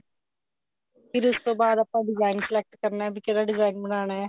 ਫਿਰ ਉਸ ਤੋਂ ਬਾਅਦ ਆਪਾਂ design select ਕਰਨਾ ਵੀ ਕਿਹੜਾ design ਬਣਾਉਣਾ